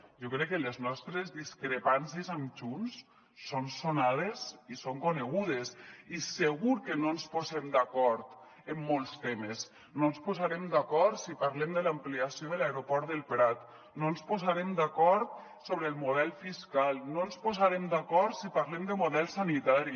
jo crec que les nostres discrepàncies amb junts són sonades i són conegudes i segur que no ens posem d’acord en molts temes no ens posarem d’acord si parlem de l’ampliació de l’aeroport del prat no ens posarem d’acord sobre el model fiscal no ens posarem d’acord si parlem de model sanitari